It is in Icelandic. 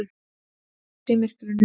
Ljós í myrkrinu.